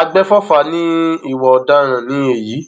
àgbẹfọfà ní ìwà ọdaràn ni èyí